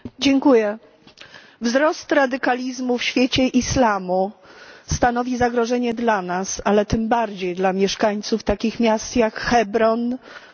Wzrost radykalizmu w świecie islamu stanowi zagrożenie dla nas, ale tym bardziej dla mieszkańców takich miast jak Hebron czy Jerozolima.